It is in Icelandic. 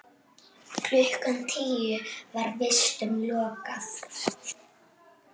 Klukkan tíu var vistum lokað.